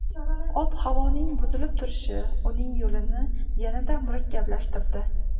Ob-havoning buzilib turishi uning yo‘lini yanada murakkablashtirdi.